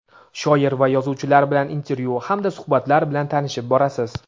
shoir va yozuvchilar bilan intervyu hamda suhbatlar bilan tanishib borasiz.